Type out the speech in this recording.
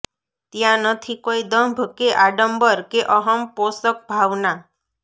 ત્યાં નથી કોઈ દંભ કે આડંબર કે અહમ પોષક ભાવના